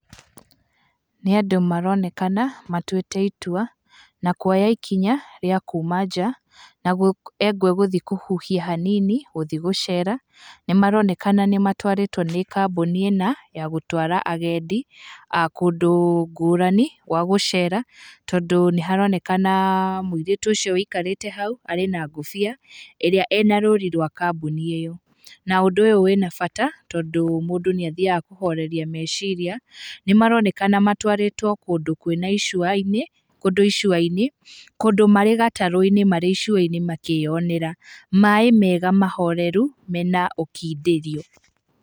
Nĩ andũ maronekana matuĩte itua na kuoya ikinya rĩa kuma njaa, na gũthĩĩ kũhuhia hanini gũthiĩ gũceera nĩ maronekana nĩ matwarĩtwo nĩ kambuni na, ya gũtwara agendi, kũndũ ngũrani gwa gũcera, tondũ nĩ haronekana mũirĩtu ũcio ũikarĩte hau arĩ na ngũbia ĩrĩa ĩna rũũri rwa kambuni ĩyo na ũndũ ũyũ wina bata tondũ mũndũ nĩ athiaga kũhoreria meciria. Nĩ maroneka matwarĩtwo kũndũ icũa-inĩ, kũndũ marĩ gatarũ-inĩ marĩ icũa-inĩ makĩyonera maĩ mega mahoreru mena ũkindĩrio.